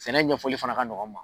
Sɛnɛ ɲɛfɔli fana ka ɲɔgɔn n ma.